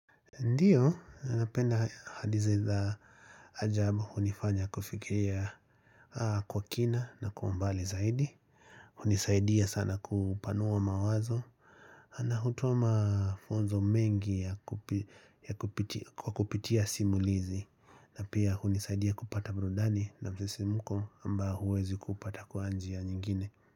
Ndio, anapenda hadithi za ajabu hunifanya kufikiria kwa kina na kwa umbali zaidi hunisaidia sana kupanua mawazo na hutoa mafunzo mengi ya kupiti kwa kupitia simulizi na pia hunisaidia kupata burudani na msisimuko ambao huwezi kuupata kwa nji ya nyingine.